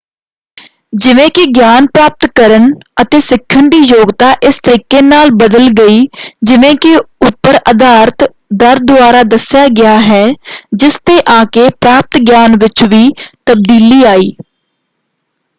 ਜਿਵੇਂ ਕਿ ਗਿਆਨ ਪ੍ਰਾਪਤ ਕਰਨ ਅਤੇ ਸਿੱਖਣ ਦੀ ਯੋਗਤਾ ਇਸ ਤਰੀਕੇ ਨਾਲ ਬਦਲ ਗਈ ਜਿਵੇਂ ਕਿ ਉੱਪਰ ਆਧਾਰਿਤ ਦਰ ਦੁਆਰਾ ਦੱਸਿਆ ਗਿਆ ਹੈ ਜਿਸ 'ਤੇ ਆ ਕੇ ਪ੍ਰਾਪਤ ਗਿਆਨ ਵਿੱਚ ਵੀ ਤਬਦੀਲੀ ਆਈ।